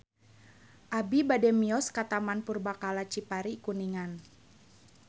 Abi bade mios ka Taman Purbakala Cipari Kuningan